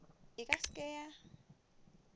e ka se ke ya